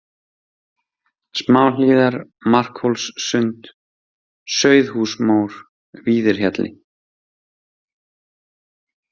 Smáhlíðar, Markhólssund, Sauðhúsmór, Víðirhjalli